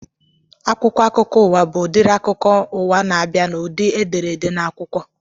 Akwụkwọ akụkọ ụwa bụ udiri akụkọ ụwa n'abia n'ụdị edere ede n'akwụkwọ